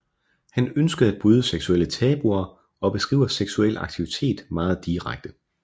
Han ønskede at bryde seksuelle tabuer og beskriver seksuel aktivitet meget direkte